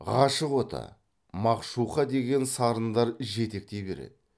ғашық оты мағшуқа деген сарындар жетектей береді